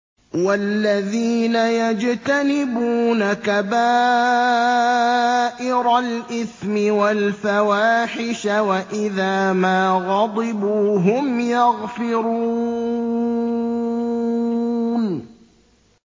وَالَّذِينَ يَجْتَنِبُونَ كَبَائِرَ الْإِثْمِ وَالْفَوَاحِشَ وَإِذَا مَا غَضِبُوا هُمْ يَغْفِرُونَ